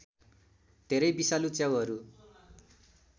धेरै विषालु च्याउहरू